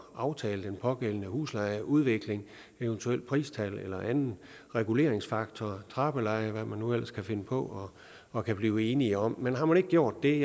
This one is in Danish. aftale den pågældende huslejeudvikling eventuelt pristal eller anden reguleringsfaktor trappeleje eller hvad man nu ellers kan finde på og kan blive enige om men har man ikke gjort det